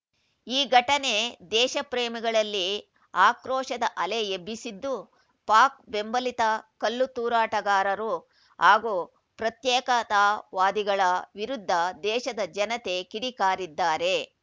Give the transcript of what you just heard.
ಈ ಘಟನೆ ದೇಶಪ್ರೇಮಿಗಳಲ್ಲಿ ಆಕ್ರೋಶದ ಅಲೆ ಎಬ್ಬಿಸಿದ್ದು ಪಾಕ್‌ ಬೆಂಬಲಿತ ಕಲ್ಲು ತೂರಾಟಗಾರರು ಹಾಗೂ ಪ್ರತ್ಯೇಕತಾವಾದಿಗಳ ವಿರುದ್ಧ ದೇಶದ ಜನತೆ ಕಿಡಿಕಾರಿದ್ದಾರೆ